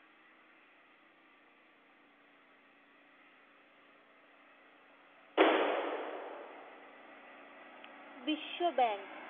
বিশ্বব্যাঙ্ক